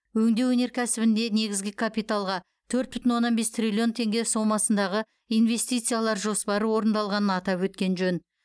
өңдеу өнеркәсібінде негізгі капиталға төрт бүтін оннан бес триллион теңге сомасындағы инвестициялар жоспары орындалғанын атап өткен жөн